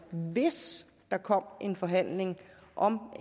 hvis der kom en forhandling om